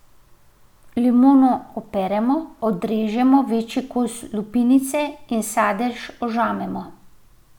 Limono operemo, odrežemo večji kos lupinice in sadež ožamemo.